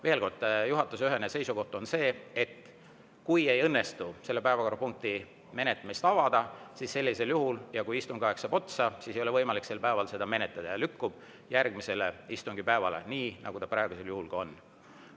Veel kord, juhatuse ühene seisukoht on see, et kui ei õnnestu selle päevakorrapunkti menetlemist avada ja istungi aeg saab otsa, siis sellisel juhul ei ole võimalik sel päeval seda menetleda ja see lükkub järgmisele istungipäevale, nii nagu see praegusel juhul ka on.